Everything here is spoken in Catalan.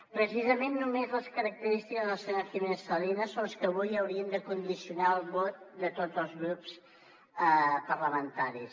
precisament només les característiques de la senyora giménez salinas són les que avui haurien de condicionar el vot de tots els grups parlamentaris